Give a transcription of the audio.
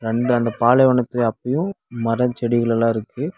ரெண்டு அந்த பாலைவனத்துல அப்பயோ மரோ செடிகள்ளெல்லா இருக்கு.